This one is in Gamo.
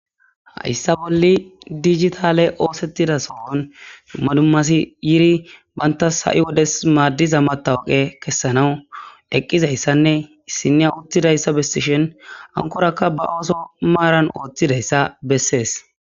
Hayssa bolli dijitale oosettida sohon dumma dummasi yiri bantas ha'i wodes maaddiza mattawoqe kessanawu eqqizayssanne issiniya uttidayssa bessishen ankorakka ba ooso maaran ooththidayssa bessees